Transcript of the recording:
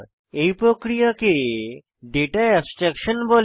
এই প্রক্রিয়াকে data abstraction বলে